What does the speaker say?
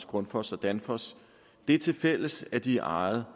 grundfos og danfoss det til fælles at de er ejet